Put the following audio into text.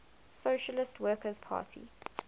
socialist workers party